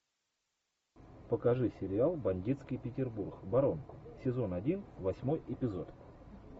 покажи сериал бандитский петербург барон сезон один восьмой эпизод